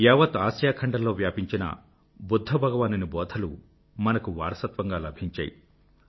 యావత్ ఆసియా ఖండంలో వ్యాపించిన బుధ్ధ భగవానుని బోధలు మనకు వారసత్వంగా లభించాయి